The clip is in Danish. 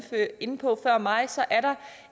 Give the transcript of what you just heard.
inde på før mig